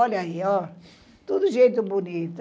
Olha aí, ó. Tudo gente bonita.